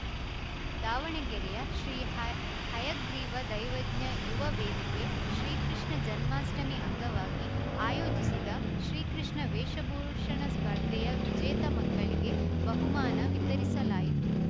ದಾವಣಗೆರೆಯ ಶ್ರೀ ಹಯ್ ಹಯಗ್ರೀವ ದೈವಜ್ಞ ಯುವ ವೇದಿಕೆ ಶ್ರೀಕೃಷ್ಣ ಜನ್ಮಾಷ್ಠಮಿ ಅಂಗವಾಗಿ ಆಯೋಜಿಸಿದ ಶ್ರೀ ಕೃಷ್ಣ ವೇಷಭೂಷಣ ಸ್ಪರ್ಧೆಯ ವಿಜೇತ ಮಕ್ಕಳಿಗೆ ಬಹುಮಾನ ವಿತರಿಸಲಾಯಿತು